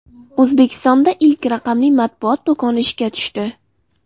O‘zbekistonda ilk raqamli matbuot do‘koni ishga tushdi.